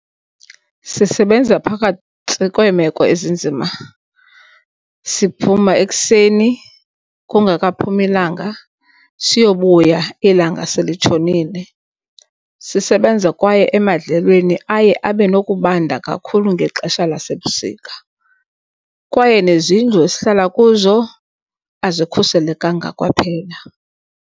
Sisebenza phakathi kweemeko ezinzima siphuma ekuseni kungakaphumi ilanga siyobuya ilanga selitshonile. Sisebenza kwaye emadlelweni aye abe nokubanda kakhulu ngexesha lasebusika. Kwaye nezindlu esihlala kuzo azikhuselekanga kwaphela.